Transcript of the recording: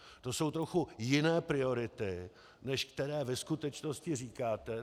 To jsou trochu jiné priority, než které ve skutečnosti říkáte.